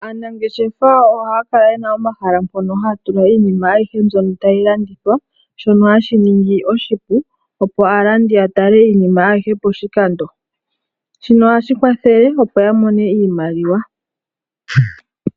Aanangeshefa ohaya kala ye na omahala mpono haya tula iinima ayihe mbyono tayi landithwa, shono hashi ningi oshipu opo aalandi ya tale iinima ayihe poshikando. Shino ohashi kwathele opo ya mone iimaliwa.